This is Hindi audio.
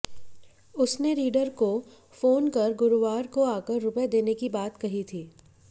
उसने रीडर को फोन कर गुरुवार को आकर रुपये देने की बात कही थी